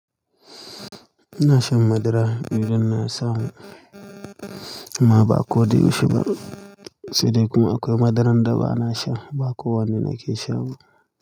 Ina shan madara idan na samu amma ba ko da yaushe ba sai dai kuma akwai madarar da bana sha, ba kowanne nake sha ba.